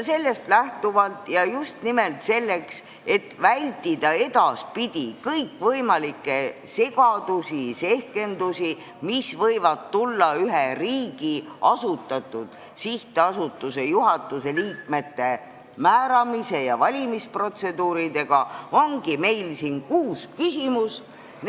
Sellest lähtuvalt ja just nimelt selleks, et vältida edaspidi kõikvõimalikke segadusi ja sehkendusi, mis võivad tekkida ühe riigi asutatud sihtasutuse juhatuse liikmete määramise ja valimisprotseduuride tõttu, on meil kuus küsimust.